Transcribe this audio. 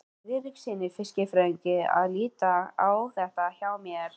Friðrikssyni fiskifræðingi að líta á þetta hjá mér.